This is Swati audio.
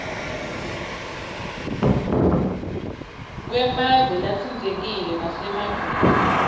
kwemave latsintsekile nasemaveni